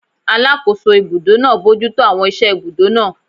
Alàkóso ibùdó náà bojútó àwọn iṣẹ́ ibùdó náà